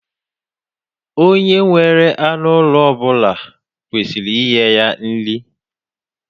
Onye nwere anụ ụlọ ọ bula kwesiri inye ya nri.